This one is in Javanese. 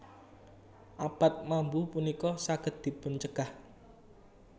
Abab mambu punika saged dipuncegah